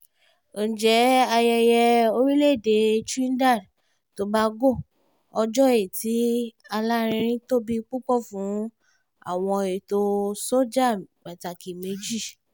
ǹjẹ́ ayẹyẹ orílẹ̀-èdè trinidad tobago ọjọ́ ẹ̀tì alárinrin tóbi púpọ̀ fún àwọn ètò sọ́jà pàtàkì méjì